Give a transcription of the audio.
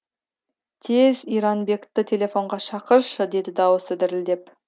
тез иранбекті телефонға шақыршы деді даусы дірілдеп